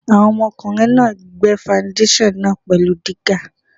Àwọn ọmọkùnrin náà gbẹ́ faundéṣàn náà pẹ̀lú dígà.